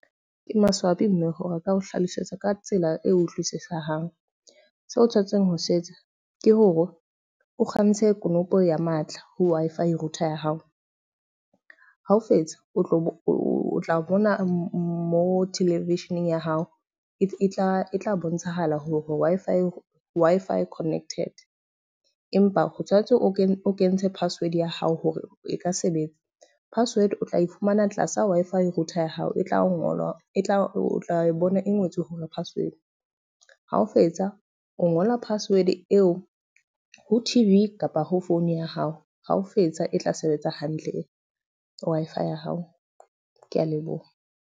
Ke maswabi mme ho reka o hlalosetsa ka tsela e utlwisisehang. Se o tshwanetseng ho se etsa ke hore o kgantshe konopo ya matla ho Wi-Fi router ya hao. Ha o fetsa o tlo o tla bona mo television-eng ya hao, e tla tla bontshahala hore Wi-Fi o Wi-Fi connected. Empa ho tshwanetse o kene o kentshe password ya hao hore e ka sebetsa. Password o tla e fumana tlasa Wi-Fi router ya hao e tla o ngola, e tla o tla bona e ngotswe hore password. Ha o fetsa o ngola password eo ho T_V kapa ho phone ya hao. Ha o fetsa e tla sebetsa hantle Wi-Fi ya hao. Ke a leboha.